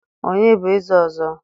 onye bu eze ozo?